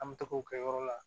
An bɛ taga o kɛ yɔrɔ la